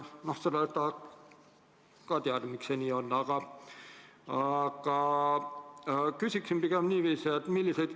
Seda tahaks ka teada, miks see nii on, aga küsin pigem niiviisi.